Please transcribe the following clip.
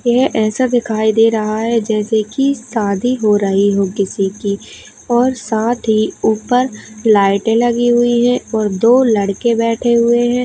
यह ऐसा दिखाई दे रहा है जैसे कि शादी हो किसी की और साथ ही ऊपर लाइटें लगी हुई हैं और दो लड़के बैठे हुए हैं।